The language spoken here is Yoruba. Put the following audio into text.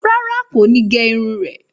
Rárá, kò ní gé irun rẹ̀.